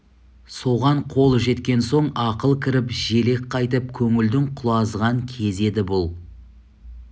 соған қол жеткен соң ақыл кіріп желік қайтып көңілдің құлазыған кезі еді бұл